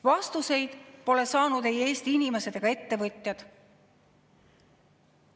Vastuseid pole saanud ei Eesti inimesed ega ettevõtjad.